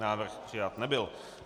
Návrh přijat nebyl.